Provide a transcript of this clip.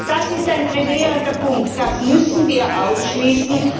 Das ist ein gravierender Punkt, das müssen wir ausschließen.